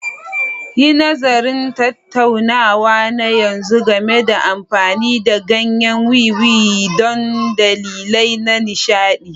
Yi nazarin tattaunawa na yanzu game da amfani da ganyen wiwi don dalilai na nishaɗi.